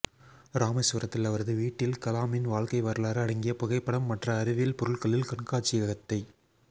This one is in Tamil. ராமேஸ்வரத்தில் அவரது வீட்டில் கலாமின் வாழ்கை வரலாறு அடங்கிய புகைப்படம் மற்ற அறிவியல் பொருட்களில் கண்காட்சியகத்தை